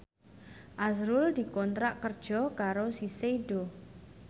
azrul dikontrak kerja karo Shiseido